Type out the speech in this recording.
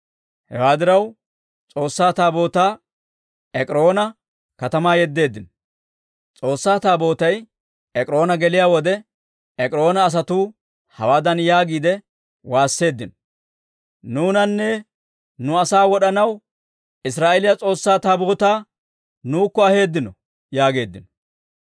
Hewaa diraw, S'oossaa Taabootaa Ek'iroona katamaa yeddeeddino. S'oossaa Taabootay Ek'iroona geliyaa wode, Ek'iroona asatuu hawaadan yaagiide waasseeddino; «Nuunanne nu asaa wod'anaw Israa'eeliyaa S'oossaa Taabootaa nuukko aheeddino» yaageeddino.